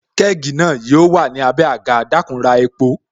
Kẹ́gì na yo wà ní abé agà, dakun ra epo